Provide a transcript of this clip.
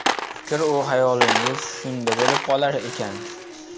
Fikr-u hayolingiz shunda bo‘lib qolar ekan.